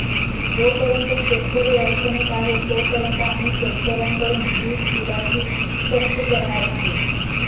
जोपर्यंत शेतकरी अडचणीत आहे तोपर्यंत आम्ही शेतकऱ्यांकडून वीज बिलाची सक्ती करणार नाही